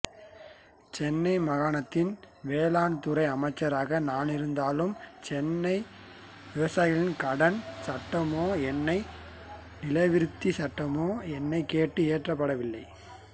சென்னை மாகாணத்தின் வேளாண்துறை அமைச்சராக நானிருந்தாலும் சென்னை விவசாயிகள் கடன் சட்டமோ சென்னை நிலவிருத்தி சட்டமோ என்னைக் கேட்டு இயற்றப்படவில்லை